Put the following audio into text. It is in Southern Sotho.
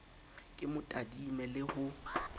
ke mo tadime le ho